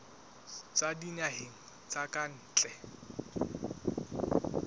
tswa dinaheng tsa ka ntle